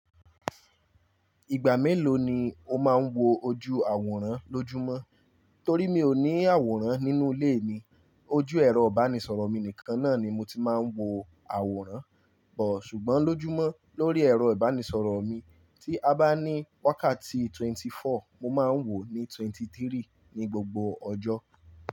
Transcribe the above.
Ìgbà mélòó ni o máa ń wo ojú àwòrán lójúmọ́? Torí mi ò ní àwòrán nínú ilé mi, ojú ẹ̀rọ ìbánisọ̀rọ̀ mi nìkan náà ni mo ti máa ń wo àwòrán. Ò, ṣùgbọ́n lójúmọ́, lórí ẹ̀rọ ìbánisọ̀rọ̀ mi, tí a bá ní wákàtí twenty-four, mo máa ń wò ó ní twenty-three ní gbogbo ọjọ́.